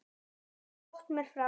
Allt of fljótt mér frá.